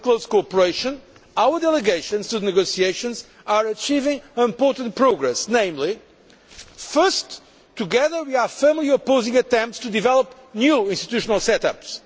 Working in close cooperation, our delegations to the negotiations are achieving important progress. First together, we are firmly opposing attempts to develop new institutional set ups.